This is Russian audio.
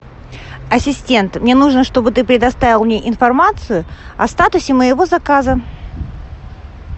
ассистент мне нужно чтобы ты предоставил мне информацию о статусе моего заказа